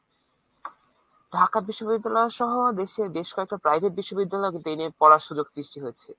ঢাকা বিশ্ববিদ্যালয় সহ দেশের বেশ কটা private বিশ্ববিদ্যালয়ে কিন্তু এই নিয়ে পড়ার সুযোগ সৃষ্টি হয়েছে।